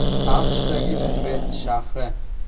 AQShdagi Svett shahri.